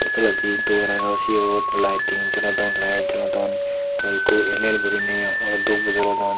toledi dorano siyo lighting jolodon light jolodon hoikko el el gurine olok dup guri jolodon.